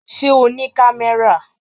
Ṣé o ní kámẹ́rà?